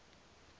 go dira tiro e e